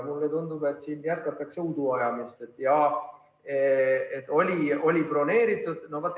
Mulle tundub, et jätkatakse udu ajamist, et jah, oli eelarves broneeritud.